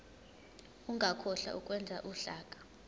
ungakhohlwa ukwenza uhlaka